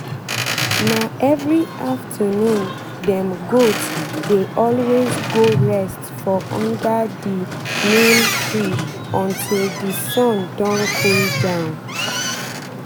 na every afternoon dem goat dey always go rest for under the neem tree until the sun don cool down.